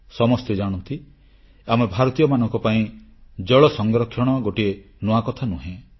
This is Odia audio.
ସମସ୍ତେ ଜାଣନ୍ତି ଆମେ ଭାରତୀୟମାନଙ୍କ ପାଇଁ ଜଳ ସଂରକ୍ଷଣ ଗୋଟିଏ ନୂଆ କଥା ନୁହେଁ